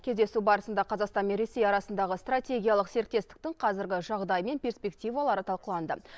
кездесу барысында қазақстан мен ресей арасындағы стратегиялық серіктестіктің қазіргі жағдайы мен перспективалары талқыланды